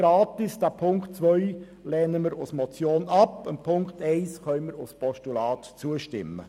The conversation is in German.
Die Vertrauensarbeitszeit ist also nicht kostenlos zu haben;